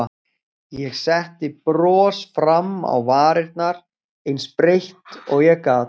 Ég setti bros fram á varirnar, eins breitt og ég gat.